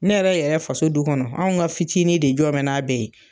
Ne yɛrɛ yɛrɛ faso du kɔnɔ anw ka fitinin de jɔ mɛn n'a bɛ ye.